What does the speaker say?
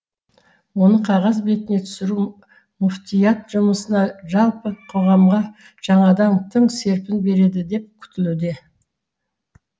оны қағаз бетіне түсіру мүфтият жұмысына жалпы қоғамға жаңадан тың серпін береді деп күтілуде